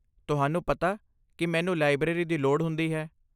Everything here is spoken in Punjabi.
ਤੁਹਾਨੂੰ ਪਤਾ ਕਿ ਮੈਨੂੰ ਲਾਇਬ੍ਰੇਰੀ ਦੀ ਲੋੜ ਹੁੰਦੀ ਹੈ।